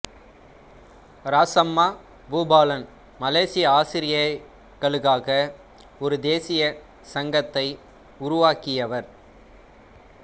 ராசம்மா பூபாலன் மலேசிய ஆசிரியைகளுக்காக ஒரு தேசிய சங்கத்தை உருவாக்கியவர்